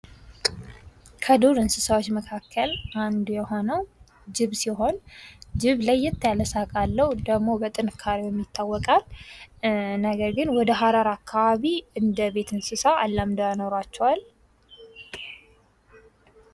ከዱር እንስሳዎች መካከል አንዱ የሆነው ጅብ ሲሆን ጅብ ለየት ያለ ሳቅ አለው ደግሞ በጥንካሬው የሚታወቃል ነገር ግን ወደ ሐረር አካባቢ እንደ የቤት እንስሳ አላምደው ያኖሯቸዋል።